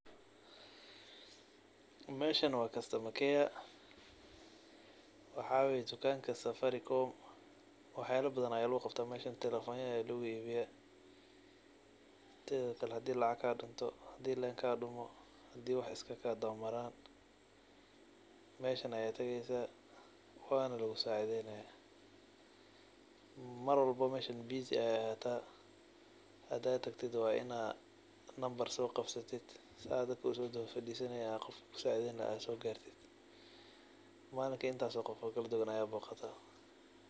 Meshan wa customer care , waxaa waye dukanki safaricom, waxyala badhan aa luguqabtaah , sida telefonada aa luguiibiyaah , hadii lacag kadunto, hadi len kadunto meshan aa latagah , walugusacideynaah . Mesha busy ay ad utahay , len aa lagalah , dadba kusodawa fadisanaya ila qofka kusacideyn lahaa gartid.